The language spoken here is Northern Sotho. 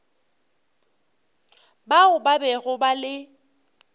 bao ba bego ba le